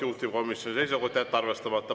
Juhtivkomisjoni seisukoht on jätta arvestamata.